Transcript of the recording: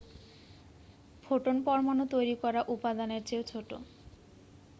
photon পরমাণু তৈরি করা উপাদানের চেয়েও ছোট